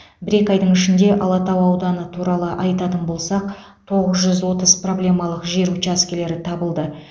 бір екі айдың ішінде алатау ауданы туралы айтатын болсақ тоғыз жүз отыз проблемалық жер учаскелері табылды